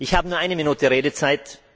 Ich habe nur eine Minute Redezeit.